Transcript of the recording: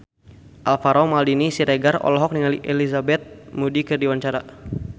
Alvaro Maldini Siregar olohok ningali Elizabeth Moody keur diwawancara